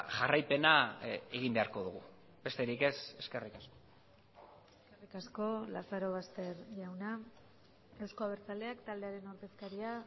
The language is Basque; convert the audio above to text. jarraipena egin beharko dugu besterik ez eskerrik asko eskerrik asko lazarobaster jauna euzko abertzaleak taldearen ordezkaria